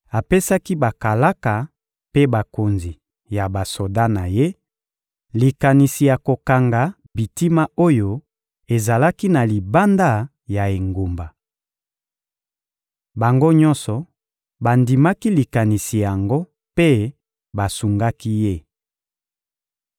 apesaki bakalaka mpe bakonzi ya basoda na ye likanisi ya kokanga bitima oyo ezalaki na libanda ya engumba. Bango nyonso bandimaki likanisi yango mpe basungaki ye.